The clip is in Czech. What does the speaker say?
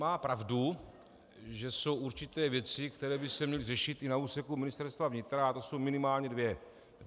Má pravdu, že jsou určité věci, které by se měly řešit i na úseku Ministerstva vnitra, a to jsou minimálně dvě.